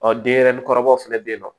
denyɛrɛnin kɔrɔbaw fɛnɛ be yen nɔ